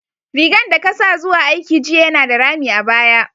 Rigan da ka sa zuwa aiki jiya yana da rami a baya.